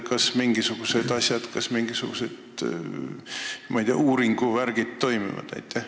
Kas toimuvad mingisugused, ma ei tea, uuringuvärgid?